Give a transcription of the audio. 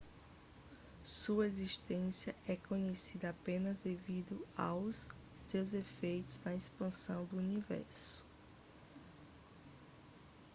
sua existência é conhecida apenas devido aos seus efeitos na expansão do universo